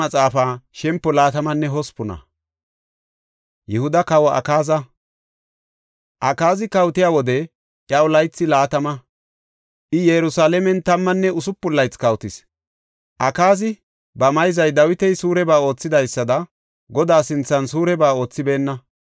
Akaazi kawotiya wode iyaw laythi laatama; I Yerusalaamen tammanne usupun laythi kawotis. Akaazi ba mayzay Dawiti suureba oothidaysada Godaa sinthan suureba oothibeenna;